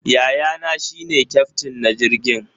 Yayana shi ne kyaftin na jirgin.